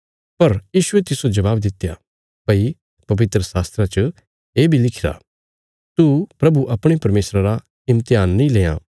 पर यीशुये तिस्सो जवाब दित्या भई पवित्रशास्त्रा च ये बी लिखिरा तू प्रभु अपणे परमेशरा रा इम्तेहान नीं लेआं